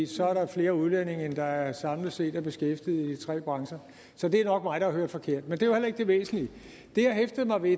så er der flere udlændinge end der samlet set er beskæftiget i de tre brancher så det er nok mig der har hørt forkert men det var heller ikke det væsentlige det jeg hæftede mig ved